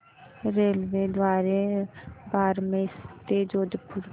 रेल्वेद्वारे बारमेर ते जोधपुर